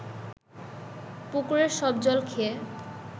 পুকুরের সব জল খেয়ে